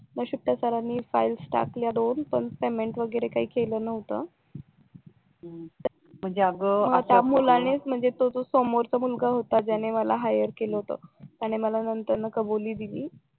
नशीब त्या सरांनी फाईल्स टाकल्या दोन पण पेमेंट वगैरे काही केलं न्हवत मग त्या मुलानेच म्हणजे त्या समोरच्या मुलगा होता ज्यां मला हायर केलं होत त्याने मला नंतर न ला कबुली दिली